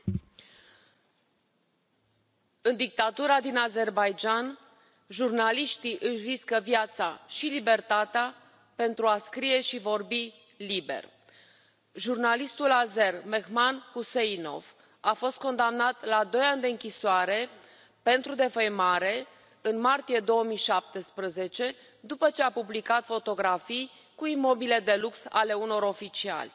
Domnule președinte, în dictatura din Azerbaidjan, jurnaliștii își riscă viața și libertatea pentru a scrie și vorbi liber. Jurnalistul azer Mehman Huseynov a fost condamnat la doi ani de închisoare pentru defăimare, în martie 2017, după ce a publicat fotografii cu imobile de lux ale unor oficiali.